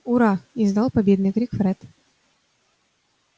ура издал победный крик фред